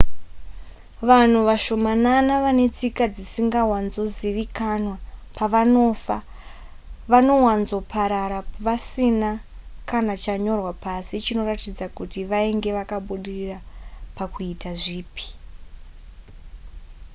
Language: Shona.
vanhu vashomanana vane tsika dzisingawanzozivikanwa pavanofa vanowanzoparara vasina kana chanyorwa pasi chinoratidza kuti vainge vakabudirira pakuita zvipi